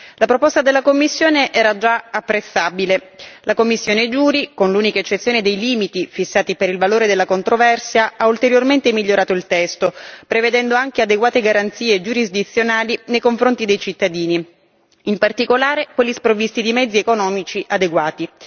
La proposta della Commissione era già apprezzabile, la commissione JURI, con l'unica eccezione dei limiti fissati per il valore della controversia, ha ulteriormente migliorato il testo prevedendo anche adeguate garanzie giurisdizionali nei confronti dei cittadini, in particolare quelli sprovvisti di mezzi economici adeguati.